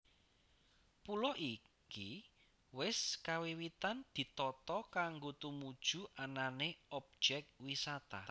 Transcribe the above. Pulo iki wis kawiwitan ditata kanggo tumuju anané objek wisata